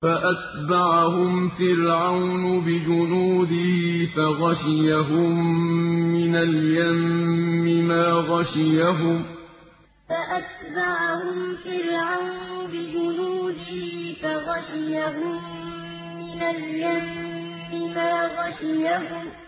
فَأَتْبَعَهُمْ فِرْعَوْنُ بِجُنُودِهِ فَغَشِيَهُم مِّنَ الْيَمِّ مَا غَشِيَهُمْ فَأَتْبَعَهُمْ فِرْعَوْنُ بِجُنُودِهِ فَغَشِيَهُم مِّنَ الْيَمِّ مَا غَشِيَهُمْ